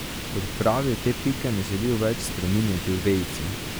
Kot pravi, te pike ne želijo več spreminjati v vejico.